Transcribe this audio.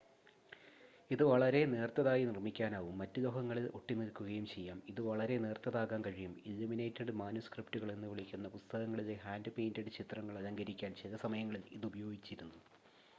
"ഇത് വളരെ നേർത്തതായി നിർമ്മിക്കാനാകും മറ്റ് ലോഹങ്ങളിൽ ഒട്ടിനിൽക്കുകയും ചെയ്യാം. ഇത് വളരെ നേർത്തതാക്കാൻ കഴിയും "ഇല്ലുമിനേറ്റഡ് മാനുസ്ക്രിപ്റ്റുകൾ" എന്നുവിളിക്കുന്ന പുസ്തകങ്ങളിലെ ഹാൻഡ്-പെയിന്റഡ് ചിത്രങ്ങൾ അലങ്കരിക്കാൻ ചില സമയങ്ങളിൽ ഇത് ഉപയോഗിച്ചിരുന്നു.